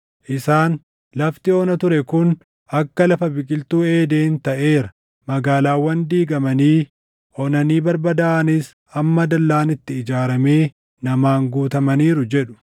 Isaan, “Lafti ona ture kun akka lafa biqiltuu Eeden taʼeera; magaalaawwan diigamanii, onanii barbadaaʼanis amma dallaan itti ijaaramee namaan guutamaniiru” jedhu.